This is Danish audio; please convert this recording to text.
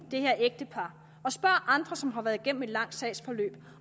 det her ægtepar og andre som har været igennem et langt sagsforløb